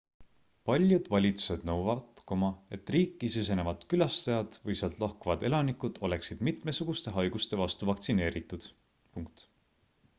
paljud valitsused nõuavad et riiki sisenevad külastajad või sealt lahkuvad elanikud oleksid mitmesuguste haiguste vastu vaktsineeritud